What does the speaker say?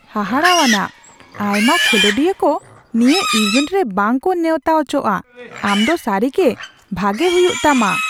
ᱦᱟᱦᱟᱲᱟᱣᱟᱱ ! ᱟᱭᱢᱟ ᱠᱷᱮᱞᱳᱰᱤᱭᱟᱹ ᱠᱚ ᱱᱤᱭᱟᱹ ᱤᱵᱷᱮᱱᱴ ᱨᱮ ᱵᱟᱝ ᱠᱚ ᱱᱮᱣᱛᱟ ᱚᱪᱚᱜᱼᱟ ᱾ ᱟᱢ ᱫᱚ ᱥᱟᱹᱨᱤᱜᱮ ᱵᱷᱟᱜᱮ ᱦᱩᱭᱩᱜ ᱛᱟᱢᱟ !